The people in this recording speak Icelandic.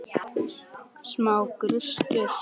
Smá gustur.